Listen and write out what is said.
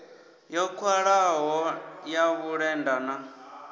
yo khwahaho ya vhulenda na